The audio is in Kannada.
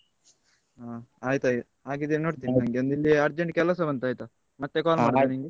ಹ ಆಯ್ತು ಹಾಗಾದ್ರೆ ನೋಡ್ತೇನೆ ನಂಗೊಂದು ಇಲ್ಲಿ urgent ಕೆಲಸ ಬಂತು ಆಯ್ತಾ, ಮತ್ತೆ call ಮಾಡ್ತೇನೆ ನಿಂಗೆ.